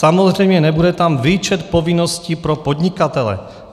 Samozřejmě nebude tam výčet povinností pro podnikatele.